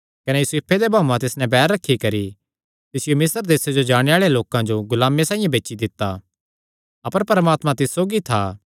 कने यूसुफे दे भाऊआं तिस नैं बैर रखी करी तिसियो मिस्र देस जो जाणे आल़ेआं लोकां जो गुलामे साइआं बेची दित्ता अपर परमात्मा तिस सौगी था